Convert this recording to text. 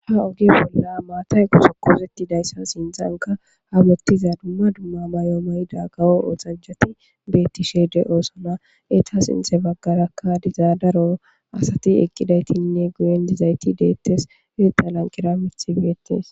Ha ogi bolla maatay gosokkoozetidayssa sintzanka hamottiza dumma dumma may7o mayida gawo oxanjati beettishe de oosona eta sinthe baggarakka dizaadaro asati eqqidaytinne guyen dizayti deettes ita lanqira mithi biyetis